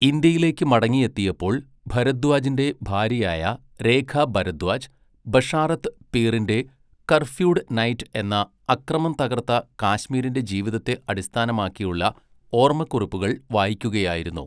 ഇന്ത്യയിലേക്ക് മടങ്ങിയെത്തിയപ്പോൾ ഭരദ്വാജിൻ്റെ ഭാര്യയായ രേഖ ഭരദ്വാജ്, ബഷാറത്ത് പീറിൻ്റെ 'കർഫ്യൂഡ് നൈറ്റ്' എന്ന, അക്രമം തകർത്ത കാശ്മീരിൻ്റെ ജീവിതത്തെ അടിസ്ഥാനമാക്കിയുള്ള ഓർമ്മക്കുറിപ്പുകൾ വായിക്കുകയായിരുന്നു.